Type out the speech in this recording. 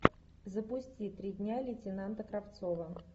запусти три дня лейтенанта кравцова